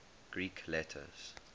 greek letters